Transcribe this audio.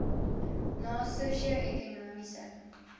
na sosio ekonomiese